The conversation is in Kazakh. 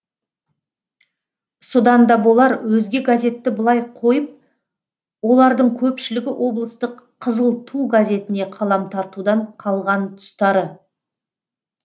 содан да болар өзге газетті былай қойып олардың көпшілігі облыстық қызыл ту газетіне қалам тартудан қалған тұстары